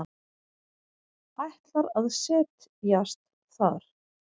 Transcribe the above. Ætlar að set jast þar.